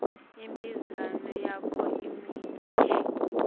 ibhizinisi yakho imise